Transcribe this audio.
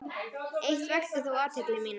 Eitt vakti þó athygli mína.